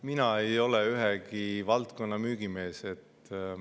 Mina ei ole ühegi valdkonna müügimees.